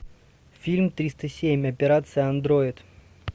фильм триста семь операция андроид